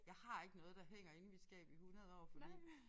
Jeg har ikke noget der hænger inde i mit skab i 100 år fordi